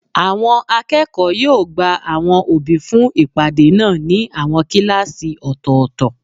Àwọn akẹ́kọ̀ọ́ yóò gba àwọn òbí fún ìpàdé náà ní àwọn kíláàsì ọ̀tọ̀ọ̀tọ̀